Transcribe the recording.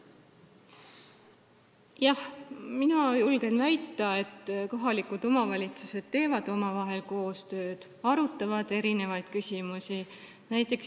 Jah, mina julgen väita, et kohalikud omavalitsused teevad omavahel koostööd, arutavad erinevaid küsimusi.